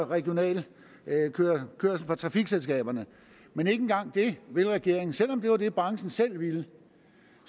regional kørsel for trafikselskaberne men ikke engang det vil regeringen selv om det var det branchen selv ville